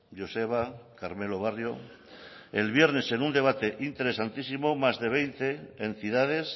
joseba carmelo barrio el viernes en un debate interesantísimo más de veinte entidades